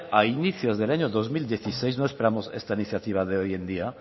a inicios del año dos mil dieciséis no esperamos esta iniciativa de hoy en día